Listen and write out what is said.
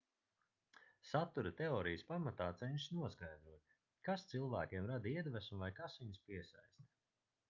satura teorijas pamatā cenšas noskaidrot kas cilvēkiem rada iedvesmu vai kas viņus piesaista